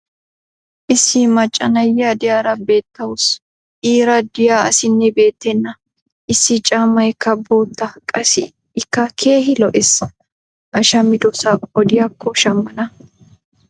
issi macca na'iya diyaara beetawusu. iira diya asinne betenna. issi caammaykka bootta qassi ikka keehi lo'ees. a shammidosaa odiyaakko shamana.